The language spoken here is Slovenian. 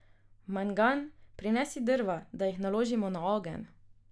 Mangan, prinesi drva, da jih naložimo na ogenj.